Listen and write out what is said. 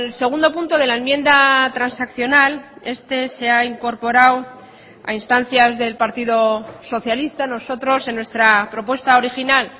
segundo punto de la enmienda transaccional este se ha incorporado a instancias del partido socialista nosotros en nuestra propuesta original